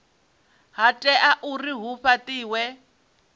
ha tea uri hu fhatiwe